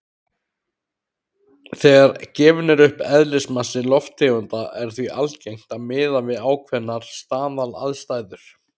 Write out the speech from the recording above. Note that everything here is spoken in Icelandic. Þegar gefinn er upp eðlismassi lofttegunda er því algengt að miða við ákveðnar staðalaðstæður.